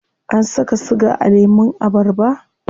Ana saka siga a lemun abarba?